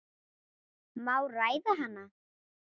Má ræða hana?